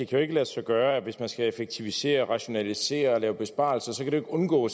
kan lade sig gøre hvis man skal effektivisere rationalisere og lave besparelser at undgå